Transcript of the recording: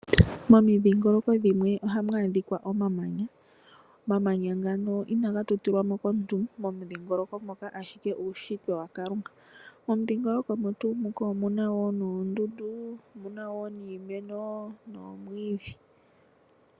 Momidhingoloko dhimwe ohamu adhika omamanya. Omamanya ngaka inaga tulilwapo komuntu momudhingoloko moka ashike uushitwe waKalunga. Momudhingoloko omo tuu moka omuna noondundu, omuna wo niimeno noomwiidhi.